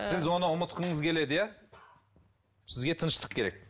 ы сіз оны ұмытқыңыз келеді иә сізге тыныштық керек